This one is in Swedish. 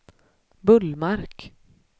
Bullmark